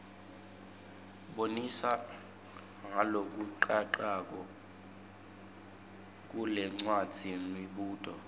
bonisa ngalokucacako kulencwadzimibuto